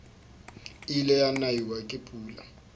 ile wa naiwa ke pula